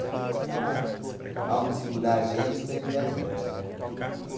não tinha mais aonde segurar a gente, prender a gente, né?